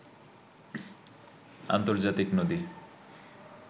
আর্ন্তজাতিক নদী